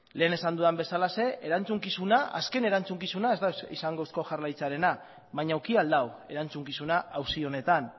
lehen esan dudan bezalaxe azken erantzukizuna ez da izango eusko jaurlaritzarena baina eduki ahal du erantzukizuna auzi honetan